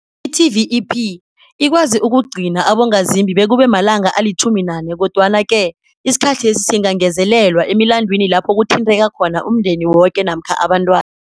I-TVEP ikwazi ukugcina abongazimbi bekube malanga ali-14, kodwana-ke isikhathesi singangezelelwa emilandwini lapho kuthinteka khona umndeni woke namkha abantwana.